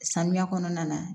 Sanuya kɔnɔna na